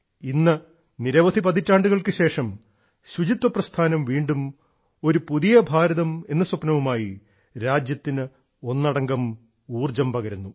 ഇന്ന് നിരവധി പതിറ്റാണ്ടുകൾക്ക് ശേഷം ശുചിത്വ പ്രസ്ഥാനം വീണ്ടും ഒരു പുതിയ ഭാരതം എന്ന സ്വപ്നവുമായി രാജ്യത്തിന് ഒന്നടങ്കം ഊർജ്ജം പകരുന്നു